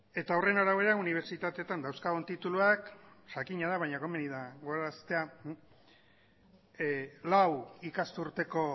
eta horren arabera unibertsitateetan dauzkagun tituluak jakina da baina gomeni da gogoraraztea lau ikasturteko